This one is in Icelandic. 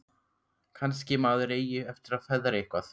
Kannski maður eigi eftir að feðra eitthvað.